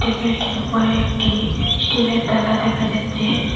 টেবিলটির উপরে একটি স্টিলের তালা দেখা যাচ্চে।